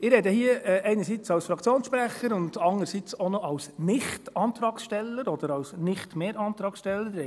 Ich spreche hier einerseits als Fraktionssprecher und andererseits auch noch als Nicht-Antragsteller oder als Nicht-mehr-Antragssteller;